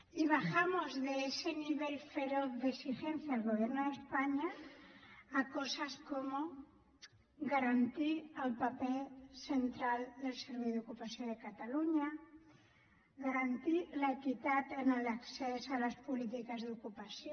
y bajamos de ese nivel feroz de exigencia al gobierno de españa a cosas como garantir el paper central del servei d’ocupació de catalunya garantir l’equitat en l’accés a les polítiques d’ocupació